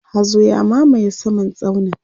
hazo ya mamaye saman tsaunin